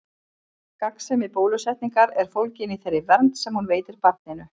Gagnsemi bólusetningar er fólgin í þeirri vernd sem hún veitir barninu.